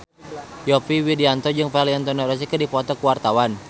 Yovie Widianto jeung Valentino Rossi keur dipoto ku wartawan